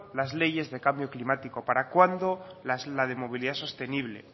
las leyes de cambio climático para cuándo la de movilidad sostenible